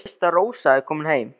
Þú veist að Rósa er komin heim.